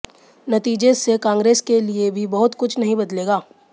नतीजे से कांग्रेस के लिए भी बहुत कुछ नहीं बदलेगा